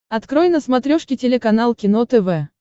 открой на смотрешке телеканал кино тв